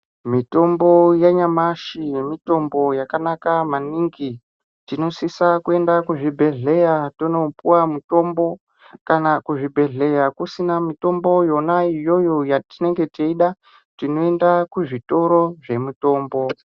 Mitombo yanyamashi mitombo yakanaka maningi, tinosisa kuenda kuzvibhedhleya tonopuwa mutombo. Kana kuzvibhedhleya kusina mitombo yona iyoyo yatinenge teida tinoenda kuzvitoro zvemitombo.